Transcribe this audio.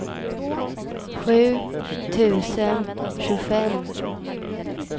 sju tusen tjugofem